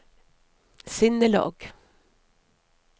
sinnelag